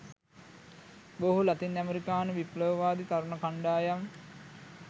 බොහෝ ලතින් අමරිකානු විප්ලවවාදී තරුණ කණ්ඩායම්